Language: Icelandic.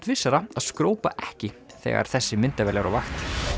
vissara að skrópa ekki þegar þessi myndavél er á vakt